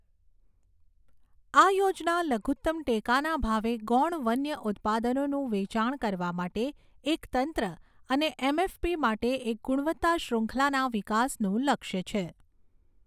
આ યોજના લઘુત્તમ ટેકાના ભાવે ગૌણ વન્ય ઉત્પાદનોનું વેચાણ કરવા માટે એક તંત્ર અને એમએફપી માટે એક ગુણવત્તા શ્રૃંખલાના વિકાસનું લક્ષ્ય છે.